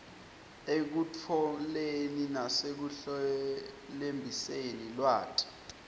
ekutfoleni nasekuhlelembiseni lwati